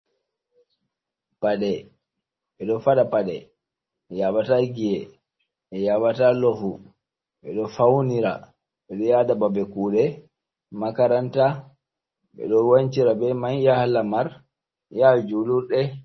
Paɗe. Ɓe ɗo faɗa paɗ, e yaɓata giƴe, e yaɓata lofu, ɓe ɗo faunira, ɓe ɗo yada babe kuɗe, makaranta, ɓe ɗo wancira be mai, yaha lamar, ya julurde.